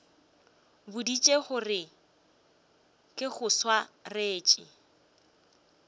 boditše gore ke go swaretše